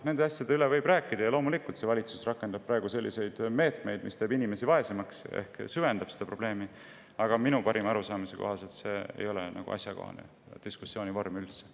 Nendest asjadest võib rääkida – loomulikult valitsus rakendab praegu selliseid meetmeid, mis teeb inimesi vaesemaks ehk süvendab seda probleemi –, aga minu parima arusaamise kohaselt ei ole see asjakohane diskussiooni vorm.